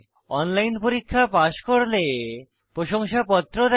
online পরীক্ষা pass করলে প্রশংসাপত্র দেয়